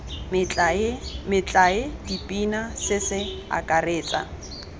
metlae dipina se se akaretsa